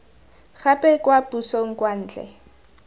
gape kwa pusong kwa ntle